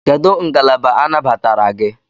Kedụ ngalaba anabatara gị?